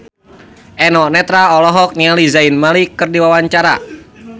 Eno Netral olohok ningali Zayn Malik keur diwawancara